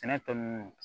Sɛnɛ tɔ nunnu